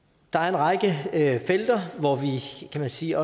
række felter hvor vi kan man sige